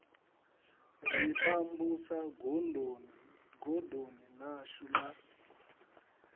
ri pambusa godoni ḽashu la